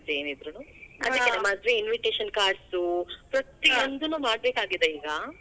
ಮದ್ವಿ invitation cards ಉ ಮಾಡ್ಬೇಕಾಗಿದೆ ಈಗಾ.